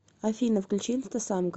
афина включи инстасамка